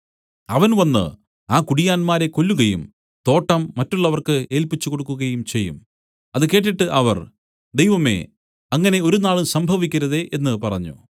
അവൻ വന്നു ആ കുടിയാന്മാരെ കൊല്ലുകയും തോട്ടം മറ്റുള്ളവർക്ക് ഏല്പിച്ചുകൊടുക്കുകയും ചെയ്യും അത് കേട്ടിട്ട് അവർ ദൈവമേ അങ്ങനെ ഒരുനാളും സംഭവിക്കരുതേ എന്നു പറഞ്ഞു